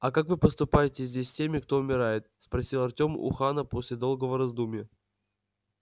а как вы поступаете здесь с теми кто умирает спросил артем у хана после долгого раздумья